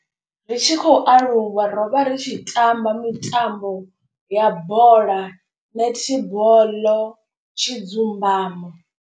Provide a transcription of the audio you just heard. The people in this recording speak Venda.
Ri tshi khou aluwa ro vha ri tshi tamba mitambo ya bola, netiboḽo, tshidzumbamo.